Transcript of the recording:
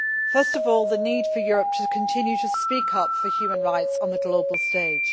First of all, the need for Europe to continue to speak up for human rights on the global stage.